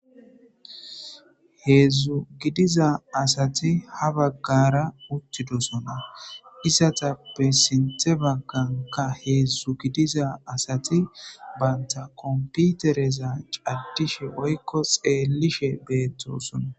Heedzdzu gidiza asati ha baggara uttidosona isatappe sinthe bagganka heedzdzu gidiza asati baynta komputereza caddishe boykko xeellishe beettosona.